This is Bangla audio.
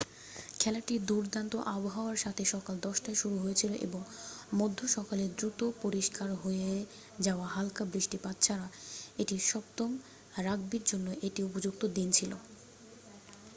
খেলাটি দুর্দান্ত আবহাওয়ার সাথে সকাল 10:00 টায় শুরু হয়েছিল এবং মধ্য সকালের দ্রুত পরিষ্কার হয়ে যাওয়া হালকা বৃষ্টিপাত ছাড়া এটি সপ্তম রাগবির জন্য একটি উপযুক্ত দিন ছিল